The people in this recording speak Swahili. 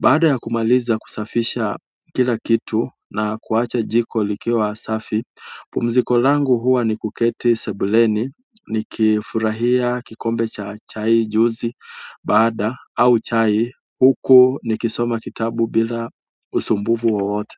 baada ya kumaliza kusafisha kila kitu na kuwacha jiko likiwa safi. Pumziko langu huwa ni kuketi sebuleni nikifurahia kikombe la chai. Baada au chai huku nikisoma kitabu bila usumbufu wowote.